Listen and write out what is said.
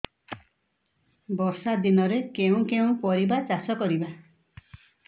ବର୍ଷା ଦିନରେ କେଉଁ କେଉଁ ପରିବା ଚାଷ କରିବା